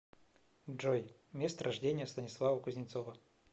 джой место рождения станислава кузнецова